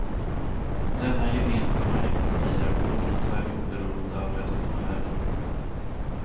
Denna gemensamma ekonomi är förvånansvärt oberoende av resten av världen.